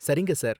சரிங்க சார்.